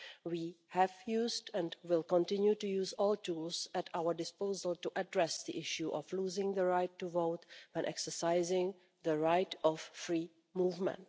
We have used and will continue to use all the tools at our disposal to address the issue of losing the right to vote in exercising the right of free movement.